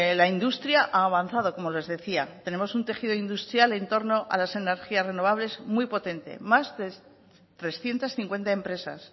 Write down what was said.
la industria ha avanzado como les decía tenemos un tejido industrial en torno a las energías renovables muy potente más de trescientos cincuenta empresas